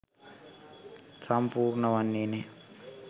සම්පූර්ණ වන්නේ නෑ.